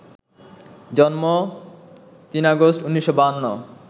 জন্ম ৩ আগস্ট ১৯৫২